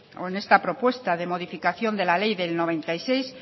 o en esta propuesta de modificación de la ley del mil novecientos noventa y seis